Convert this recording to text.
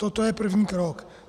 Toto je první krok.